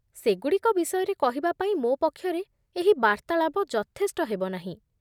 ସେଗୁଡ଼ିକ ବିଷୟରେ କହିବା ପାଇଁ ମୋ ପକ୍ଷରେ ଏହି ବାର୍ତ୍ତାଳାପ ଯଥେଷ୍ଟ ହେବ ନାହିଁ।